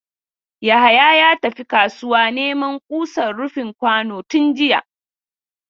Yahaya ya tafi kasuwa neman kusan rufin kwano tun jiya.